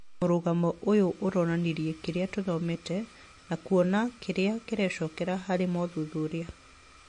Mũrugano ũyũ ũronanirie kĩrĩa tũthomete na kuona kĩrĩa kĩrecokera harĩ mothuthuria